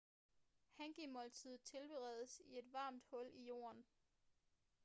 hangi-måltider tilberedes i et varmt hul i jorden